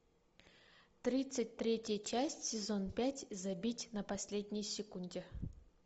тридцать третья часть сезон пять забить на последней секунде